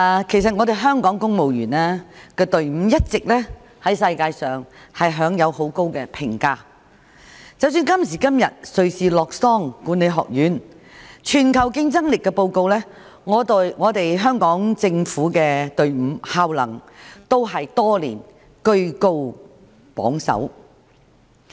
主席，香港公務員隊伍在世界上一直享有很高評價，即使今時今日瑞士洛桑國際管理發展學院的"全球競爭力報告"，香港政府隊伍的效能多年來都居高榜首。